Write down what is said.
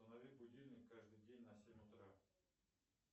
установи будильник каждый день на семь утра